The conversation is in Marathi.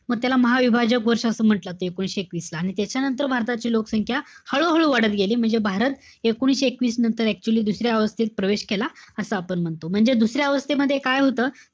मी त्याला महविभाजक वर्ष असं म्हंटल जात. ते एकोणीशे एकवीस ला. आणि त्याच्यानंतर भारताची लोकसंख्या हळूहळू वाढत गेली. म्हणजे भारत एकोणीशे एकवीस नंतर actually दुसऱ्या अवस्थेत प्रवेश केला. असं आपण म्हणतो. म्हणजे दुसऱ्या अवस्थेमध्ये काय होतं?